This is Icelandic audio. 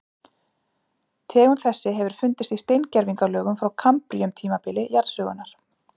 Tegund þessi hefur fundist í steingervingalögum frá kambríum tímabili jarðsögunnar.